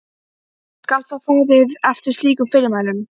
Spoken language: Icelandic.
Skal þá farið eftir slíkum fyrirmælum.